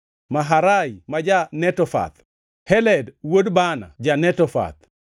Maharai ma ja-Netofath, Heled wuod Baana ja-Netofath,